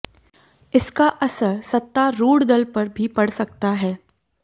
इसका असर सत्तारूढ़ दल पर भी पड़ सकता है